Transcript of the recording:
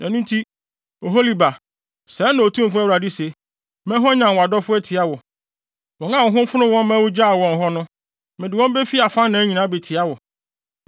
“Ɛno nti, Oholiba, sɛɛ na Otumfo Awurade se: Mɛhwanyan wʼadɔfo atia wo, wɔn a wɔn ho fonoo wo ma wugyaw wɔn hɔ no; mede wɔn befi afanan nyinaa abetia wo.